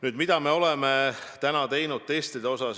Nüüd, mida me oleme teinud, et teste saaks rohkem teha?